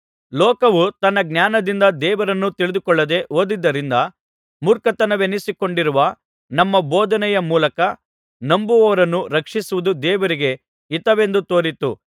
ಲೋಕವು ತನ್ನ ಜ್ಞಾನದಿಂದ ದೇವರನ್ನು ತಿಳಿದುಕೊಳ್ಳದೆ ಹೋದದ್ದರಿಂದ ಮೂರ್ಖತನವೆನಿಸಿಕೊಂಡಿರುವ ನಮ್ಮ ಬೋಧನೆಯ ಮೂಲಕ ನಂಬುವವರನ್ನು ರಕ್ಷಿಸುವುದು ದೇವರಿಗೆ ಹಿತವೆಂದು ತೋರಿತು